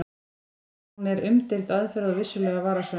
En hún er umdeild aðferð og vissulega varasöm.